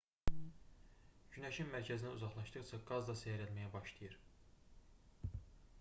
günəşin mərkəzindən uzaqlaşdıqca qaz da seyrəlməyə başlayır